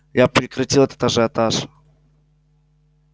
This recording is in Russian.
я прекратил этот ажиотаж